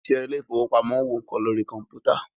òṣìṣẹ́ ilé ìfọwọ́pamo ń wo nǹkan lórí kọ̀mpútà.